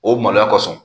O maloya kosɔn